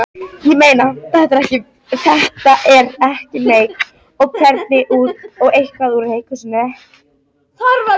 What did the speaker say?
Ég meina, þetta er ekki meik eða eitthvað úr leikhúsinu?